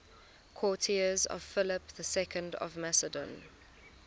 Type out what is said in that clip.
courtiers of philip ii of macedon